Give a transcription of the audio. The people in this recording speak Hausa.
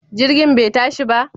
Jirgin bai tashi ba?